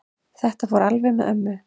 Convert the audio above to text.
Þetta fór alveg með ömmu.